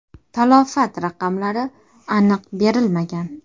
Talafot raqamlari aniq berilmagan.